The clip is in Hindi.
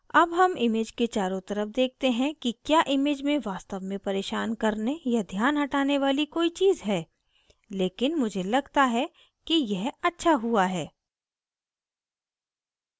अब हम image के चारों तरफ देखते हैं कि क्या image में वास्तव में परेशान करने या ध्यान हटाने वाली कोई चीज़ है लेकिन मुझे लगता है कि यह अच्छा हुआ है